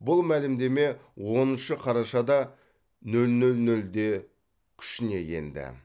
бұл мәлімдеме оныншы қарашада нөл нөл нөлде күшіне енді